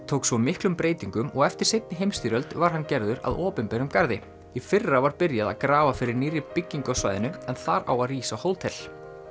tók svo miklum breytingum og eftir seinni heimsstyrjöld var að hann gerður að opinberum garði í fyrra var byrjað að grafa fyrir nýrri byggingu á svæðinu en þar á að rísa hótel